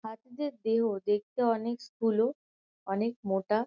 হাতিদের দেহ দেখতে অনেক স্থূল অনেক মোটা।